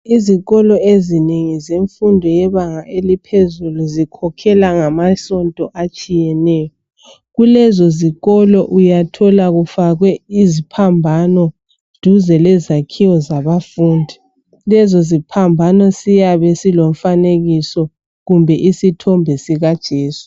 Ezikolo ezinengi, zemfundo yebanga eliphezulu, zikhokhelwa ngamasonto atshiyeneyo. Kulezo zikolo uyathola kufakwe iziphambano duze lezakhiwo zabafundi. Lezo ziphambano ziyabe zilomfanekiso kumbe isithombe sikaJesu.